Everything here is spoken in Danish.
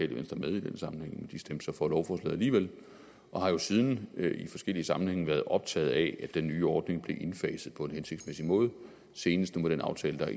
venstre med i den sammenhæng men de stemte så for lovforslaget alligevel og har jo siden i forskellige sammenhænge været optaget af at den nye ordning bliver indfaset på en hensigtsmæssig måde senest med den aftale der